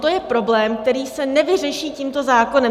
To je problém, který se nevyřeší tímto zákonem.